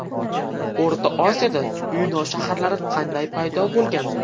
O‘rta Osiyoda yunon shaharlari qanday paydo bo‘lgan?